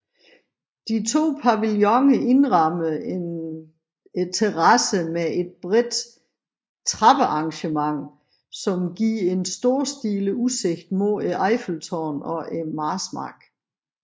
De to pavillioner indrammer en terrasse med et bredt trappearrangement som giver en storstilet udsigt mod Eiffeltårnet og Marsmarken